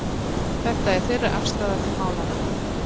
Þetta er þeirra afstaða til málanna